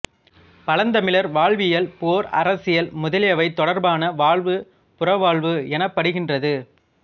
பழந்தமிழர் வாழ்வியலில் போர் அரசியல் முதலியவை தொடர்பான வாழ்வு புற வாழ்வு எனப்படுகின்றது